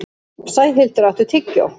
Sæhildur, áttu tyggjó?